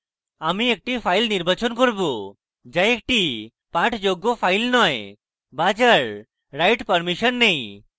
আমি একটি file নির্বাচন করব যা একটি পাঠযোগ্য file নয় বা যার write permission নেই